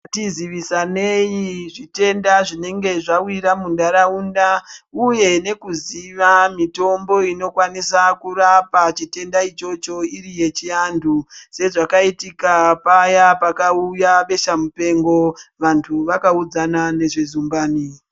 Ngatiziwisanei zvitenda zvinenge zvawira minharaunda uye nekuziwa mitimbo inokwanisa kurapa chitenda ichocho iri yechi antu sezvakaitika paya pakauya besha mupengo vantu wakaudzana nezvezumbani.